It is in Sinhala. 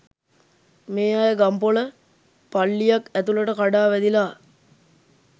මේ අය ගම්පොල පල්ලියක් ඇතුළට කඩා වැදිලා